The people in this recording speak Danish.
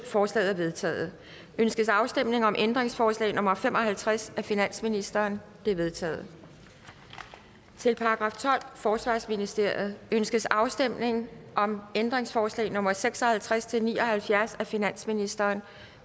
forslaget er vedtaget ønskes afstemning om ændringsforslag nummer fem og halvtreds af finansministeren det er vedtaget til § tolvte forsvarsministeriet ønskes afstemning om ændringsforslag nummer seks og halvtreds til ni og halvfjerds af finansministeren